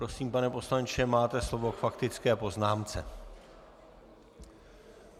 Prosím, pane poslanče, máte slovo k faktické poznámce.